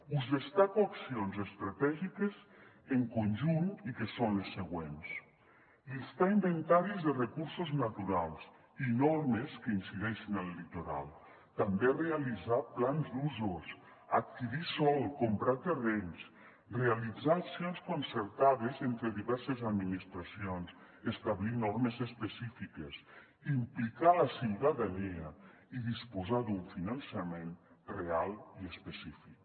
us destaco accions estratègiques en conjunt i que són les següents llistar inventaris de recursos naturals i normes que incideixin al litoral també realitzar plans d’usos adquirir sòl comprar terrenys realitzar accions concertades entre diverses administracions establir normes específiques implicar la ciutadania i disposar d’un finançament real i específic